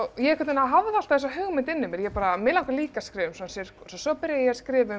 ég hafði alltaf þessa hugmynd inni í mér ég bara mig langar líka að skrifa um svona sirkus svo byrjaði ég að skrifa um